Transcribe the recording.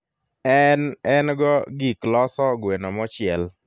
en engo gik loso gweno mochiel